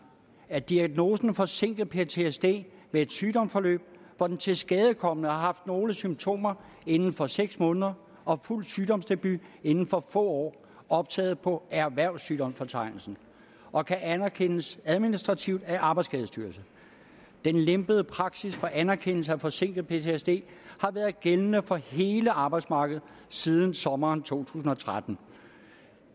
er diagnosen forsinket ptsd med et sygdomsforløb hvor den tilskadekomne har haft nogle symptomer inden for seks måneder og fuld symptomdebut indenfor få år optaget på erhvervssygdomsfortegnelsen og kan anerkendes administrativt af arbejdsskadestyrelsen den lempede praksis for anerkendelse af forsinket ptsd har været gældende for hele arbejdsmarkedet siden sommeren to tusind og tretten